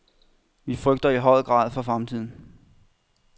Vi frygter i høj grad for fremtiden.